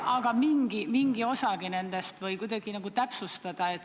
Aga mingi osagi nendest või äkki kuidagi nagu täpsustada?